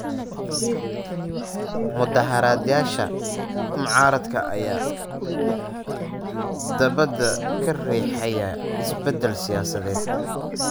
Mudaaharaadyada mucaaradka ayaa dabada ka riixayay isbedel siyaasadeed.